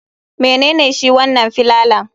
Menene shi wanan filalan?